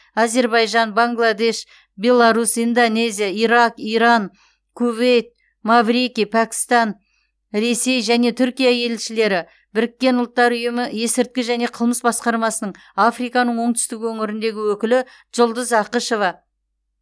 әзербайжан бангладеш беларусь индонезия ирак иран кувейт маврикий пәкістан ресей және түркия елшілері біріккен ұлттар ұйымы есірткі және қылмыс басқармасының африканың оңтүстігі өңіріндегі өкілі жұлдыз ақышева